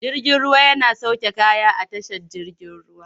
Jirgin ruwa yana sauke kaya a tashar jigin ruwa.